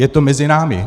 Je to mezi námi.